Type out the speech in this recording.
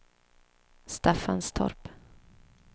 Staffanstorp